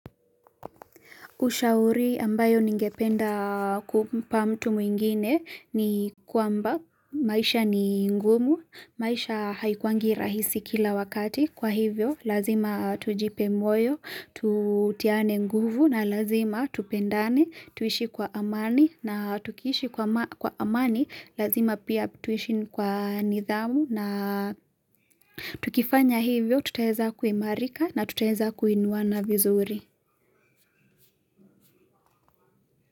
Ushauri ambayo ningependa kumpa mtu mwingine ni kwamba maisha ni ngumu, maisha haikuangi rahisi kila wakati, kwa hivyo lazima tujipe moyo, tutiane nguvu na lazima tupendane, tuishi kwa amani na tukiishi kwa amani, lazima pia tuishi kwa nidhamu na tukifanya hivyo, tutaweza kuimarika na tutaweza kuinuana vizuri.